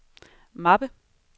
mappe